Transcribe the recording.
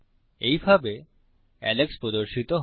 এইভাবে এলেক্স প্রদর্শিত হয়